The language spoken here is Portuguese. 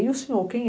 E o senhor, quem é?